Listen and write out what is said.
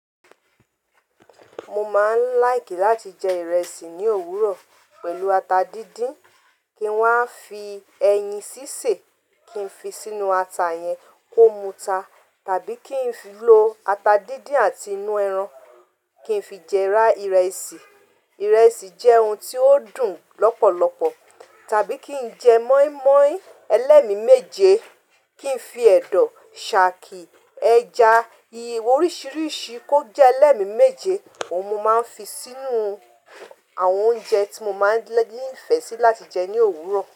Mo máa ń like láti jẹ ìrẹsì ní òwúrọ̀ pẹ̀lú ata díndín. Kí n wá fi ẹyin sísè, kí n fi sínú ata yẹn kó múta, tàbí kí n fi lo ata díndín àti inú ẹran kí n fi jẹ ra ìrẹsì. Ìrẹsì jẹ́ ohun tí ó dùn lọ́pọ̀lọpọ̀. Tàbí kí n jẹ mọ́ímọ́í ẹlẹ́mi méje, kí n fi ẹ̀dọ̀, ṣáàkì, ẹja yíyan oríṣìíríṣìí kó jẹ́ ẹlẹ́mi méje. Ohun mo máa ń fi sínú àwọn oúnjẹ tí mo máa ń ní ìfẹ́ sí láti jẹ ní òwúrọ̀